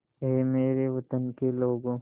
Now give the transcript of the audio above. ऐ मेरे वतन के लोगों